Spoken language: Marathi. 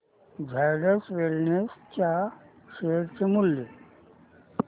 झायडस वेलनेस च्या शेअर चे मूल्य